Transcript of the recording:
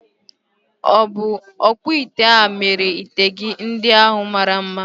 Ọ̀ bụ ọkpụite a mere ite gị ndị ahu mara mma?